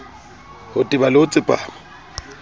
ho teba le ho tsepama